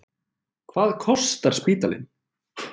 Hvað kostar spítalinn?